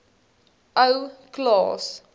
ou klaas